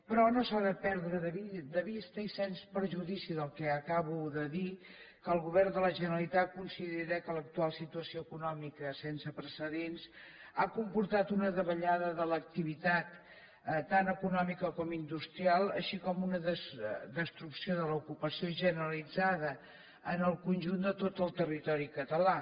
però no s’ha de perdre de vista i sens perjudici del que acabo de dir que el govern de la generalitat considera que l’actual situació econòmica sense precedents ha comportat una davallada de l’activitat tant econòmica com industrial així com una destrucció de l’ocupació generalitzada en el conjunt de tot el territori català